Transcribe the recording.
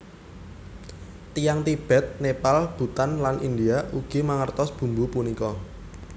Tiyang Tibet Nepal Bhutan lan India ugi mangertos bumbu punika